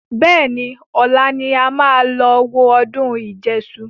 Bẹ́ẹ̀ni, ọ̀la ni a máa lọ wo ọdún ìjẹṣu